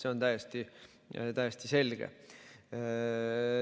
See on täiesti selge.